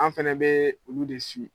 An fɛnɛ bɛ olu de